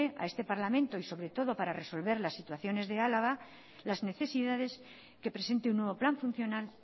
a este parlamento y sobre todo para resolver las situaciones de álava las necesidades que presente un nuevo plan funcional